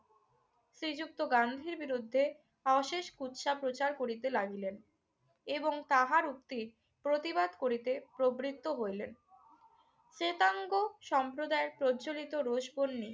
শ্রীযুক্ত গান্ধীর বিরুদ্ধে অশেষ কুৎসা প্রচার করিতে লাগিলেন এবং তাহার উক্তির প্রতিবাদ করিতে প্রবৃত্ত হইলেন। শেতাঙ্গ সম্প্রদায়ে প্রজ্জ্বোলিত রোষবহ্নি